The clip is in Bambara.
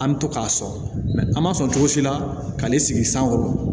An bɛ to k'a sɔn an m'a sɔn cogo si la k'ale sigi sankɔrɔ